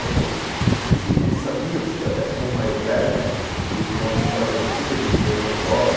Então, a gente sabia, até como mais velho, e com a história antiga dos meus avós,